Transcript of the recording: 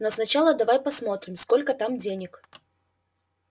но сначала давай посмотрим сколько там денег